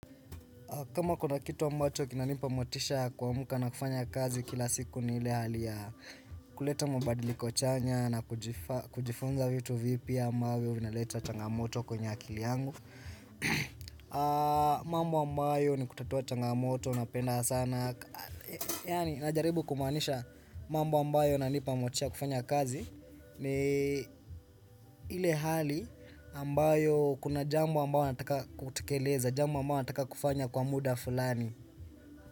Kama kuna kitu ambayo kinanipa motisha kuamka na kufanya kazi kila siku ni ile hali ya kuleta mabadiliko chanya na kujifunza vitu vipya ambavyo vinaleta changamoto kwenye akili yangu. Mambo ambayo ni kutatua changamoto napenda sana Yaani najaribu kumaanisha mambo ambayo yananipa motisha kufanya kazi ni ile hali ambayo kuna jambo ambayo nataka kutekeleza Jambo ambayo nataka kufanya kwa muda fulani.